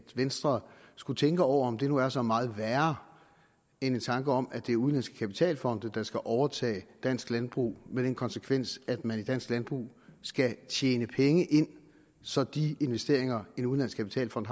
venstre skulle tænke over om det nu er så meget værre end en tanke om at det er udenlandske kapitalfonde der skal overtage dansk landbrug med den konsekvens at man i dansk landbrug skal tjene penge ind så de investeringer en udenlandsk kapitalfond